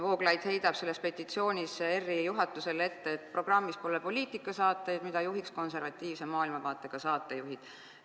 Vooglaid heidab selles petitsioonis ERR-i juhatusele ette, et programmis pole poliitikasaateid, mida juhiks konservatiivse maailmavaatega saatejuhid.